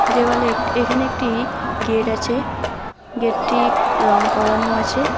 দেওয়ালে একট এখানে একটি গেট আছে গেট টি রং করানো আছে।